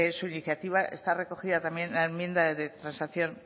su iniciativa está recogida también en la enmienda de transacción